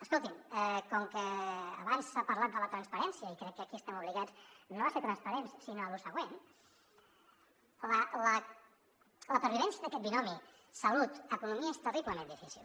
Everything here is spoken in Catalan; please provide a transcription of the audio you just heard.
escoltin com que abans s’ha parlat de la transparència i crec que aquí estem obligats no a ser transparents sinó a lo següent la pervivència d’aquest binomi salut economia és terriblement difícil